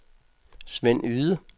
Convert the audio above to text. Sven Yde